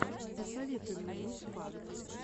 посоветуй мне мусфан